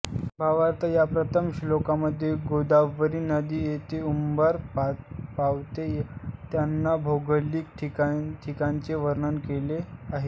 भावार्थ या प्रथम श्लोकामध्ये गोदावरी नदी जिथे उगम पावते त्या भौगोलिक ठिकाणचे वर्णन केले आहें